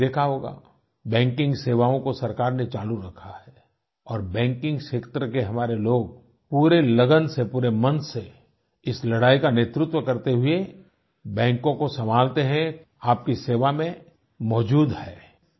आपने देखा होगा बैंकिंग सेवाओं को सरकार ने चालू रखा है और बैंकिंगक्षेत्र के हमारे लोग पूरे लगन से पूरे मन से इस लड़ाई का नेतृत्व करते हुए बैंकों को सँभालते हैं आपकी सेवा में मौजूद हैं